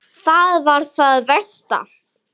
Það er það versta.